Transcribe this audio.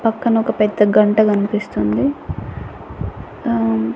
పక్కన ఒక పెద్ద గంట గన్పిస్తుంది అహ్--